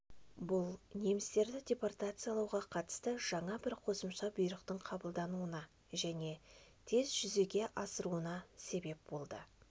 бұл немістерді депортациялауға қатысты жаңа бір қосымша бұйрықтың қабылдануына және оның тез жүзеге асыруына себеп болды